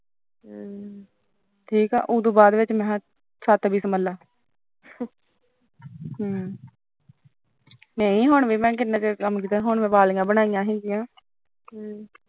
ਹਮ ਠੀਕ ਐ ਉਹਦੇ ਬਾਅਦ ਛਤ ਵੀ ਸਾਂਭਲੇ ਨਹੀਂ ਹੁਣ ਵੀ ਮੈਂ ਕਿੰਨਾ ਚਿਰ ਕੰਮ ਕੀਤਾ ਉਹ ਤੋਂ ਬਾਅਦ ਮੈਂ ਵਾਲੀਆਂ ਬਣਾਈਆਂ ਸੀ ਇਹਦੀਆਂ